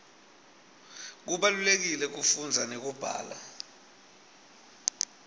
kubalulekile kufunza nekubhala